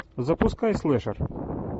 запускай слэшер